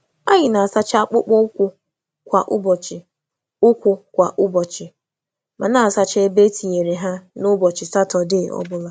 Anyị Anyị na-asacha akpụkpọ ụkwụ kwa ụbọchị, ma na-asacha ebe e tinyere ha n’ụbọchị Satọdee obula.